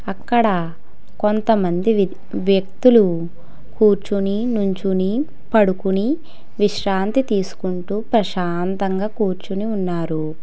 అక్కడ కొంత మంది వ్య వ్యక్తులు కూర్చొని నించొని పడుకొని విశ్రాంతి తీసుకుంటూ ప్రశాంతంగా కూర్చుని ఉన్నారు.